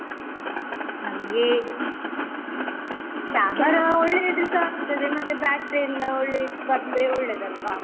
ನಂಗೆ ಒಳ್ಳೇ ಇದ್ರೆಸ ಆಗ್ತದೆ ಮತ್ತೆ battery ಎಲ್ಲ ಒಳ್ಳೇದ್ ಬಂದ್ರೆ ಒಳ್ಳೇದಲ್ವಾ.